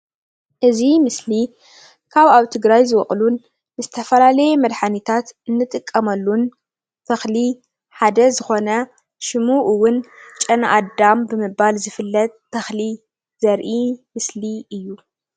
እዚ ምስሊ ካብ ኣብ ትግራይ ዝወቅሉን ዝተፈላለየ መድሓኒታት እንጥቀመሉን ተክሊ ሓደ ዝኮነ ሽሙ እውን ጨናኣዳም ብምባል ዝፍለጥ ተክሊ ዘርኢ ምስሊ እዩ፡፡